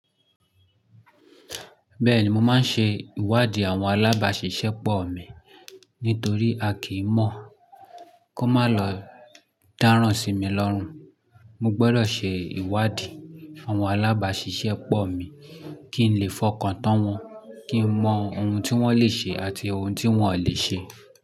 Bẹ́ẹ̀ni, mo máa ń ṣe ìwádì àwọn alábàáṣiṣẹ́pọ̀ mi nítorí a kì mọ̀. Kó má lọ dáràn si mi lọ́rùn. Mo gbọ́dọ̀ ṣe ìwádì àwọn alábàáṣiṣẹ́pọ̀ mi kí n lè fọkàn tán wọn, kí n mọ oun tí wọ́n leè ṣe àti oun tí wọ́n lè ṣe.